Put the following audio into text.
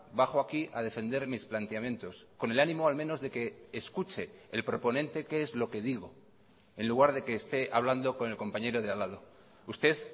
bajo aquí a defender mis planteamientos con el ánimo al menos de que escuche el proponente qué es lo que digo en lugar de que esté hablando con el compañero de al lado usted